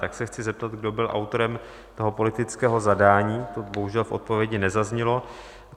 Tak se chci zeptat, kdo byl autorem toho politického zadání, to bohužel v odpovědi nezaznělo.